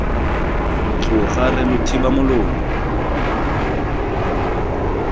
tloga re lo thiba molomo